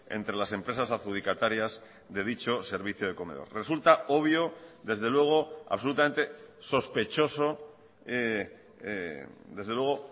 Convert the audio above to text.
entre las empresas adjudicatarias de dicho servicio de comedor resulta obvio desde luego absolutamente sospechoso desde luego